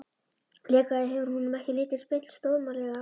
Líklega hefur honum ekki litist beint stórmannlega á mig.